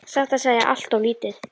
Satt að segja allt of lítið.